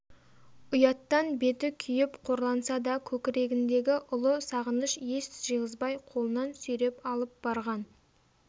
ұяттан беті күйіп қорланса да көкірегіндегі ұлы сағыныш ес жиғызбай қолынан сүйреп алып барған